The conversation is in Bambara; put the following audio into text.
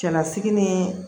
Cɛlasigi ni